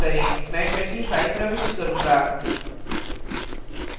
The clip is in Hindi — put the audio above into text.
मैं 25 प्रविष्ट करूंगा